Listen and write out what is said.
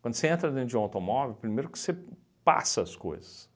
Quando você entra dentro de um automóvel, primeiro que você passa as coisas.